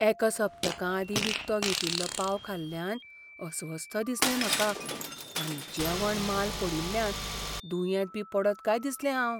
एका सप्तका आदीं विकतो घेतिल्लो पाव खाल्ल्यान अस्वस्थ दिसलें म्हाका आनी जेवण माल पडील्ल्यान दुयेंत बी पडत काय दिसलें हांव.